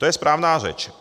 To je správná řeč.